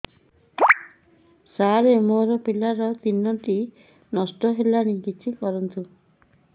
ସାର ମୋର ପିଲା ତିନିଟା ନଷ୍ଟ ହେଲାଣି କିଛି କରନ୍ତୁ